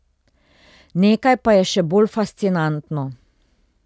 Nekaj pa je še bolj fascinantno.